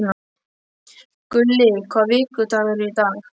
Gulli, hvaða vikudagur er í dag?